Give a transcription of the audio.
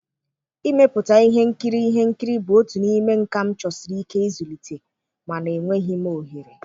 Ịmepụta ihe nkiri ihe nkiri bụ otu n'ime nkà m chọsiri ike ịzụlite, mana enwebeghị m ohere.